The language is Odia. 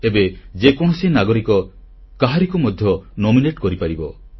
ଏବେ ଯେକୌଣସି ନାଗରିକ କାହାରିକୁ ମଧ୍ୟ ନାମାଙ୍କିତସୁପାରିସ କରିପାରିବେ